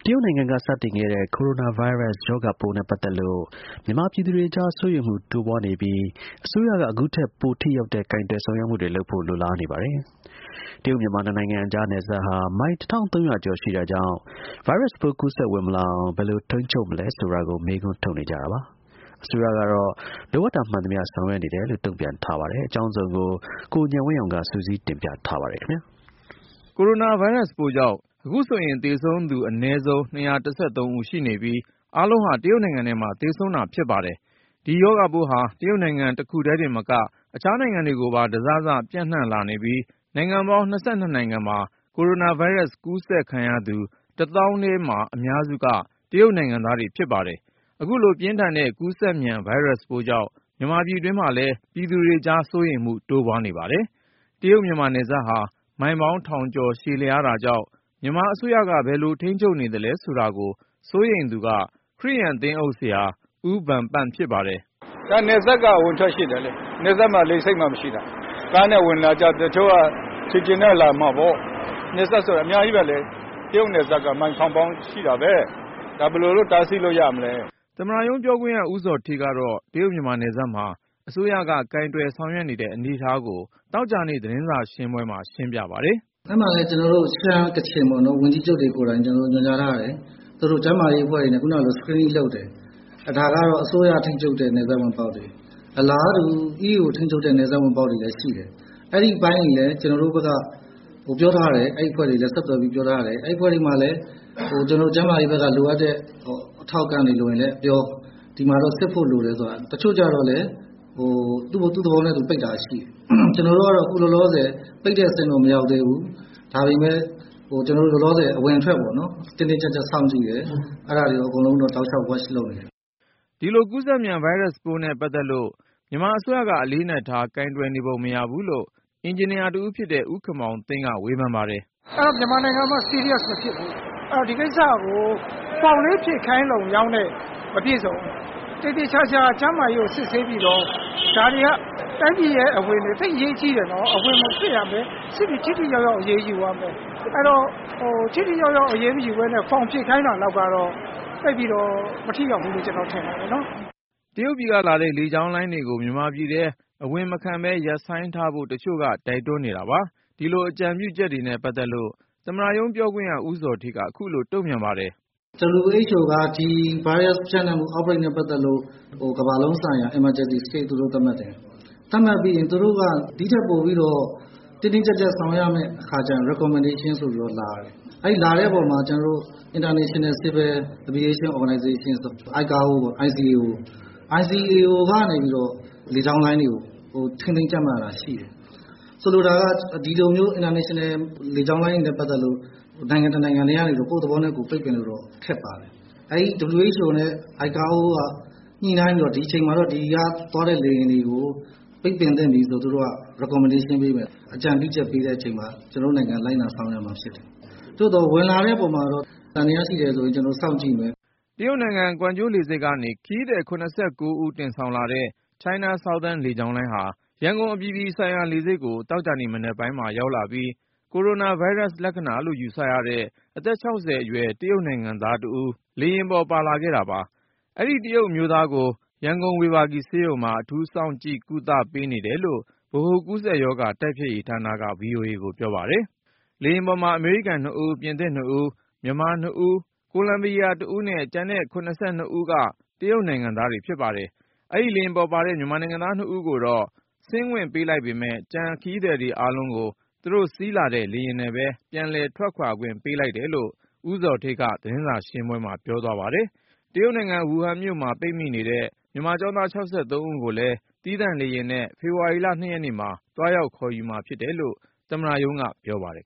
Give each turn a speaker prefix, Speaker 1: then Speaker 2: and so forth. Speaker 1: ရုတ်နိုင်ငံက စတင်ခဲ့တဲ့ ကိုရိုနာဗိုင်းရပ်စ် ကူးစက်ရောဂါပိုးနဲ့ပတ်သက်လို့ မြန်မာပြည်သူတွေကြား စိုးရိမ
Speaker 2: ်မှုတိုးပွားနေပြီး အစိုးရက အခုထက်ပို ထိရောက်တဲ့ ကိုင်တွယ်ဆောင်ရွက်မှုတွေလုပ်ဖို့ လိုလားနေပါတယ်။ တရုတ်-မြန်မာ နှစ်နိုင်ငံကြား နယ်စပ်ဟာ မိုင်(၁၃၀၀)ကျော် ရှိတာကြောင့် ဗိုင်းရပ်စ်ပိုး ကူးစက် ဝင်မလာအောင် ဘယ်လို ထိန်းချုပ်မလဲဆိုတာကို မေးခွန်းထုတ်နေကြတာပါ။ အစိုးရကတော့ လိုအပ်တာ မှန်သမျှ ဆောင်ရွက်နေတယ်လို့ တုံ့ပြန်ပါတယ်။ အကြောင်းစုံကို ကိုဉာဏ်ဝင်းအောင်က စုစည်းတင်ပြထားပါတယ်။ ကိုရိုနာဗိုင်းရပ်စ်ပိုးကြောင့် အခုဆိုရင် သေဆုံးသူ အနည်းဆုံး ၂၁၃ ဦးရှိနေပြီး အားလုံးဟာ တရုတ်နိုင်ငံထဲမှာ သေဆုံးတာဖြစ်ပါတယ်။ ဒီရောဂါပိုးဟာ တရုတ်နိုင်ငံတခုထဲတင်မက အခြားနိုင်ငံတွေကိုပါ တစစပျံ့နှံ့လာနေပြီး နိုင်ငံပေါင်း ၂၂ နိုင်ငံမှာ ကိုရိုနာဗိုင်းရပ်စ်ပိုး ကူးစက် ခံရသူ ၁၀,၀၀၀ ထဲမှာ အများစုက တရုတ်နိုင်ငံသားတွေဖြစ်ပါတယ်။ အခုလို ပြင်းထန်တဲ့ကူးစက်မြန် ဗိုင်းရပ်စ်ပိုးကြောင့် မြန်မာပြည်တွင်း မှာလဲ ပြည်သူတွေကြား စိုးရိမ်မှု တိုးပွားနေပါတယ်။ တရုတ်-မြန်မာ နယ်စပ်ဟာ မိုင်ပေါင်း ထောင်ကျော်ရှည်လျားတာကြောင့် မြန်မာအစိုးရက ဘယ်လို ထိန်းချုပ်နေသလဲဆိုတာကို စိုးရိမ်သူက ခရစ်ယာန် သင်းအုပ်ဆရာ ဦးဗန်ပန့်ဖြစ်ပါတယ်။ “နယ်စပ်က အဝင်အထွက်ရှိတယ်လေ။ နယ်စပ်မှာ လေဆိပ်မှ မရှိတာ။ ကားနဲ့ဝင်လာတာ တချို့က ခြေချင်နဲ့ ဝင်လာကြမှာပေါ့။ နယ်စပ်ဆိုတာ အများကြီးပဲလေ။ တရုတ်နယ်စပ်က မိုင်ထောင်ပေါင်းရှိတာပဲ ဒါဘယ်လိုလို့ တားဆီးလို့ရမလဲ” သမ္မတရုံးပြောခွင့်ရ ဦးဇော်ဌေးကတော့ တရုတ်-မြန်မာနယ်စပ်မှာ အစိုးရက ကိုင်တွယ်ဆောင်ရွက်နေတဲ့ အနေအထားကို သတင်းစာရှင်းပွဲမှာ ရှင်းပြပါတယ်။
Speaker 1: “နယ်စပ်မှာလည်း ကျန
Speaker 2: ော်တို့ ရှမ်း၊ ကချင် ဝန်ကြီးချုပ်တွေကိုယ်တိုင် ညွှန်ကြားထားတယ်
Speaker 1: ။ သူတို့ ကျန်းမာရေးအဖွဲ့တွေနဲ့ screening လုပ်တယ်။ ဒါကတော့ အစိုးရ ထိန်းချုပ်တဲ့ နယ်စပ်ဝင်ပေါက်တွေ ၊ အလားတူ တခြားထိန်းချုပ်တဲ့ နယ်စပ်ဝင်ပေါက်တွေလည်းရှိတယ်။ အဲဒီအပိုင်းတွေလည်း ကျနော်တို့ ပြောထားတယ် ၊ အဲဒီအဖွဲ့တွေကို ဆက်သွယ်ပြောထားတယ် အဲဒီအဖွဲ့တွေမှာလည်း ကျနော်တို့ ကျန်းမာရေး အထောက်အပံ့တွေလိုရင်လည်း ပြော၊ ဒီမှာတော့ စစ်ဖို့လိုတယ်ဆိုတာ။ တချို့ကလည်း သူ့သဘောနဲ့ သူ ပိတ်တာရှိတယ်။ ကျနော်တို့ကတော့ အခုလောလောဆည် ပိတ်တဲ့အဆင့်တော့ မရောက်သေးဘူး။ ဒါပေမယ့် အဝင်အထွက်ကို တင်းတင်းကျပ်ကျပ်စောင့်ကြည့်တယ်။ အဲဒါတွေ အကုန်လုံးတော့ တောက်လျှောက် watch လုပ်နေတယ်
Speaker 2: ။” ဒီလို ကူးစက်မြန် ဗိုင်းရပ်စ်ပိုးနဲ့ပတ်သက်လို့ မြန်မာအစိုးရက အလေးအနက်ထား ကိုင်တွယ်နေပုံ မရဘူးလို့ အင်ဂျင်နီယာတဦးဖြစ်တဲ့ ဦးခင်မောင်သိန်းက ဝေဖန်ပါတယ်။ “မ
Speaker 1: ြန်မာနိုင်ငံမှာက serious မဖြစ်ဘူး ။ ဆိုတော့ ဒီကိစ္စကို ဖောင်လေး ဖြည့်ခိုင်းတာနဲ့ မပြည့်စုံဘူး ။ သေသေချာချာ ကျန်းမာရေးကို စစ်ပြီးတော့ ဒါတွေက တိုင်းပြည်ရဲ့အဝင် အထွက် သိပ်အရေးကြီးတယ်နော်။ အဝင်ကို စစ်ရမယ် စစ်ပြီးတော့ ထိထိရောက်ရောက် အရေးယူရမယ်။ အဲဒီတော့ ထိထိရောက်ရောက်အရေးမယူပဲနဲ့ ဖောင်ဖြည့်ခိုင်းတာလောက်နဲ့တော့ သိပ်ပြီးမထိရောက်ဘူးလို့ ကျနော်ထင်ပါတယ်။
Speaker 2: ” တရုတ်ပြည်ကလာတဲ့ လေကြောင်းလိုင်းတွေကို မြန်မာပြည်ထဲ အဝင်မခံပဲ ရပ်ဆိုင်းထားဖို့ တချို့ကတိုက်တွန်းနေတာပါ။ ဒီလိုအကြံပြုချက် တွေနဲ့ပတ်သက်လို့ သမ္မတရုံးပြောခွင့်ရ ဦးဇော်ဌေးက ခုလို တုံ့ပြန်ပါတယ်။ “WHO က ဒီဗိုင်းရပ်စ် ပြန့်နှံ့မှုနဲ့ ပတ်သက်လို့ ကမ္ဘာလုံးဆိုင်ရာ
Speaker 1: Emergency သူတို့ သတ်မှတ်တယ်။ သတ်မှတ်ပြီးရင် သူတို့ ဒီထက်ပိုပြီးတော့ တင်းတင်းကျပ်ကျပ်ဆောင်ရွက်ရမယ့် အခါကျတော့ recommendation ဆိုပြီးတော့လာတယ်။ အဲဒီအခါမှာ ကျနော်တို့ International civil aviation organization (icao) ကနေပြီးတော့ လေကြောင်းလိုင်းတွေကို ထိန်းသိမ်းကျပ်မတ်ရတယ်ရှိတယ်။ ဆိုလိုတာက ဒီလိုမျိုး International လေကြောင်းလိုင်းတွေနဲ့ ပတ်သက်လို့ နိုင်ငံတနိုင်တည်းကနေပြီးတော့ ကိုယ့်သဘောနဲ့ ပိတ်ပင်လို့ ခက်ပါတယ်။ အဲဒီ WHO နဲ့ ICAO က ညှိနှိုင်းပြီးတော့ ဒီအချိန်မှာတော့ ဒီကသွားတဲ့လေယာဉ်တွေကို ပိတ်ပင်သင့်ပြီဆိုပြီးတော့ သူတို့က Recommendation ပေးတဲ့အချိန်မှာ ကျနော်တို့နိုင်ငံက လိုက်နာဆောင်ရွက်ရမှာ ဖြစ်ပါတယ်။ သို့သော် ဝင်လာတဲ့အပေါ်မှာတော့ သံသယရှိတယ်ဆိုရင် ကျနော်တို့ စောင့်ကြည့်ပါမယ်။
Speaker 2: ” တရုတ်နိုင်ငံ ကွမ်ကျိုးလေဆိပ်ကနေ ခရီးသည် ၇၉ ဦးတင်ဆောင်လာတဲ့ China Southern လေကြောင်းလိုင်းဟာ ရန်ကုန် အပြည်အပြည် ဆိုင်ရာလေဆိပ်ကို သောကြာနေ့မနက်ပိုင်းမှာ ရောက်လာပြီး ကိုရိုနာဗိုင်းရပ်စ် လက္ခဏာလို့ယူဆရတဲ့ အသက် ၆၀ အရွယ် တရုတ်နိုင်ငံသား တစ်ဦး လေယာဉ်ပေါ် ပါလာခဲ့တာပါ။ အဆိုပါ တရုတ်အမျိုးသားကို ရန်ကုန် ဝေဘာဂီဆေးရုံမှာ အထူးစောင့်ကြည့် ကုသပေးနေတယ်လို့ ဗဟိုကူးစက်ရောဂါ တိုက်ဖျက်ရေးဌာနက ဗွီအိုအေကို ပြောပါတယ်။ လေယာဉ်ပေါ်မှာ အမေရိကန် ၂ ဦး၊ ပြင်သစ် ၂ ဦး၊ မြန်မာ ၂ဦး၊ ကိုလံဘီယာ ၁ ဦးနဲ့ ကျန်တဲ့ ၇၂ ဦးက တရုတ်နိုင်ငံသားတွေဖြစ်ပါတယ်။ အဲဒီ လေယာဉ်ပေါ်ပါတဲ့ မြန်မာနိုင်ငံသား နှစ်ဦးကိုတော့ ဆင်းခွင့်ပေးလိုက်ပေမယ့် ကျန်ခရီးသည်တွေ အားလုံးကို သူတို့စီးလာတဲ့ လေယာဉ်နဲ့ပဲ ပြန်လည်ထွက်ခွာခွင့် ပေးလိုက်တယ်လို့ ဦးဇော်ဌေးက သတင်းစာရှင်းလင်းပွဲမှာ ပြောသွားပါတယ်။ တရုတ်နိုင်ငံ ဝူဟန်မှာ ပိတ်မိနေတဲ့ မြန်မာကျောင်းသား ၆၃ ဦးကိုလည်း သီးသန့်လေယာဉ်နဲ့ ဖေဖေါ်ဝါရီ(၂)ရက်နေ့မှာ သွားရောက်ခေါ်ယူမှာဖြစ်တယ်လို့ သမ္မတရုံးက ပြောပါတယ်